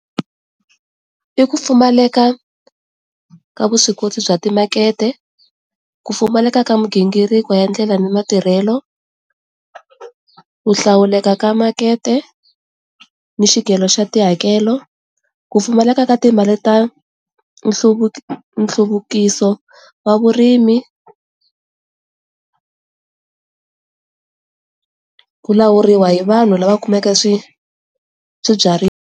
I ku pfumaleka ka vuswikoti bya timakete, ku pfumaleka ka migingiriko ya ndlela ni matirhelo, ku hlawuleka ka makete ni xikolo xa tihakelo ku pfumaleka ka timali ta nhluvuko nhluvukiso wa vurimi, ku lawuriwa hi vanhu lava kumeke swibyariwa.